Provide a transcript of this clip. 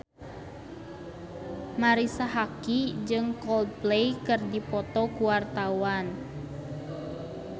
Marisa Haque jeung Coldplay keur dipoto ku wartawan